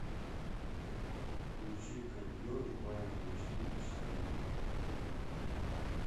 включи кондер в бане на четыре часа